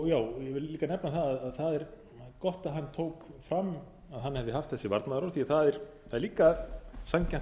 hann tók fram að hann hefði haft þessi varnaðarorð því að það er líka sanngjarnt að